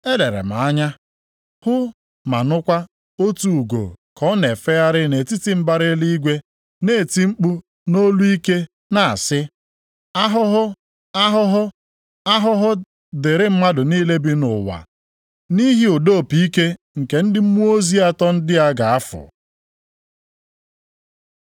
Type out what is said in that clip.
Elere m anya, hụ ma nụkwa otu ugo ka ọ na-efegharị nʼetiti mbara eluigwe na-eti mkpu nʼolu ike na-asị, “Ahụhụ! Ahụhụ! Ahụhụ dịrị mmadụ niile bi nʼụwa nʼihi ụda opi ike nke ndị mmụọ ozi atọ ndị a ga-afụ.”